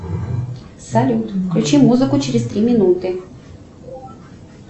салют включи музыку через три минуты